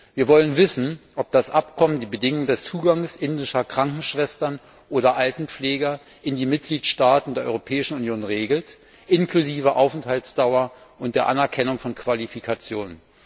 Wir wollen wissen, ob das Abkommen die Bedingungen der Einreise indischer Krankenschwestern oder Altenpfleger in die Mitgliedstaaten der Europäischen Union regelt, einschließlich der Aufenthaltsdauer und der Anerkennung von Qualifikationen.